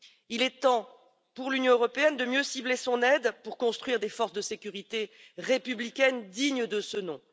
Il est temps pour l'Union européenne de mieux cibler son aide pour construire des forces de sécurité républicaines dignes de ce nom.